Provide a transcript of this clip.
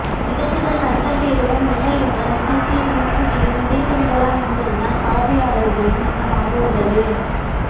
நிகழ்ச்சிகள் கண்டெண்ட் எதுவும் இல்லை என்றால் நிகழ்ச்சியை முன்கூட்டியே முடித்து விடலாம் என்பதுதான் பார்வையாளர்களின் எண்ணமாக உள்ளது